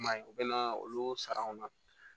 I m'a ye u bɛ na olu sara anw na